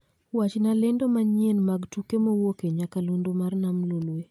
Wachna lendo manyien mag tuke mowuok e nyakalondo mar nam lolwe